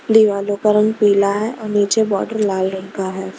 दीवालों का रंग पीला है और नीचे बॉर्डर लाल रंग का है।